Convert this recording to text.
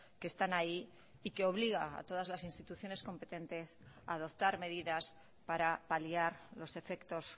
que están ahí y que obliga a todas las instituciones competentes a adoptar medidas para paliar los efectos